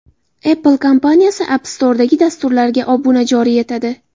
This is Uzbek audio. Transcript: Apple kompaniyasi App Store’dagi dasturlarga obuna joriy etadi.